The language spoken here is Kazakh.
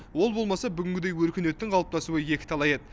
ол болмаса бүгінгідей өркениеттің қалыптасуы екіталай еді